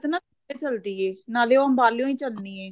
ਨਾ ਚੱਲਦੀ ਐ ਨਾਲੇ ਓ ਅੰਬਲਿਓ ਚੱਲਣੀ ਐ